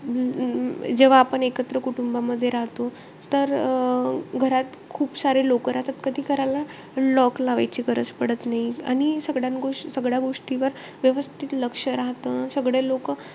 अं जे जेव्हा आपण एकत्र कुटुंबामध्ये राहतो. तर अं घरात खूप सारे लोकं राहतात. कधी घराला lock लावायची गरज पडत नाही. आणि सगळ्या गोष्टी सगळ्या गोष्टीवर व्यवस्थित लक्ष राहतं. सगळे लोकं,